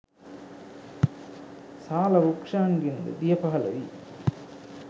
සාල වෘක්ෂයන්ගෙන් ද දිය පහළ වී